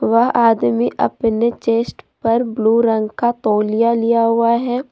वह आदमी अपने चेस्ट पर ब्लू रंग का तोलिया लिया हुआ है।